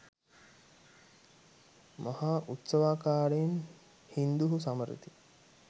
මහා උත්සවාකාරයෙන් හින්දුහු සමරති